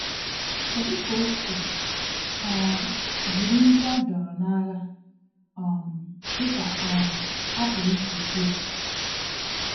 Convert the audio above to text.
Kedu ka O si um jiri ndị a dọọrọ n’agha, um dị ka um a pụrụ isi kwuo?